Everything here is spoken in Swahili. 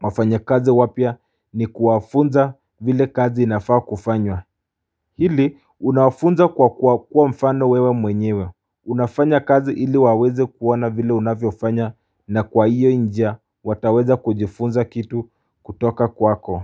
wafanyikazi wapya ni kuwafunza vile kazi inafaa kufanywa Hili unafunza kwa kuwa mfano wewe mwenyewe. Unafanya kazi ili waweze kuona vile unavyofanya na kwa hiyo njia wataweza kujifunza kitu kutoka kwako.